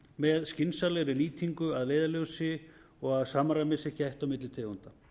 með skynsamlega nýtingu að leiðarljósi og að samræmis sé gætt milli tegunda